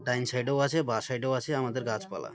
ডাইন side -এও আছে বা সাইড -এও আছে আমাদের গাছপালা।